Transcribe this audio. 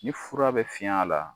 Ni fura bɛ fiɲ'a la